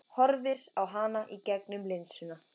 Horfir á hana í gegnum linsuna.